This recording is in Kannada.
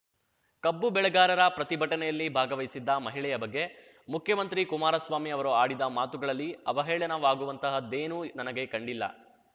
ಕಬ್ಬು ಬೆಳೆಗಾರರ ಪ್ರತಿಭಟನೆಯಲ್ಲಿ ಭಾಗವಹಿಸಿದ್ದ ಮಹಿಳೆಯ ಬಗ್ಗೆ ಮುಖ್ಯಮಂತ್ರಿ ಕುಮಾರಸ್ವಾಮಿ ಅವರು ಆಡಿದ ಮಾತುಗಳಲ್ಲಿ ಅವಹೇಳನವಾಗುವಂತಹದ್ದೇನೂ ನನಗೆ ಕಂಡಿಲ್ಲ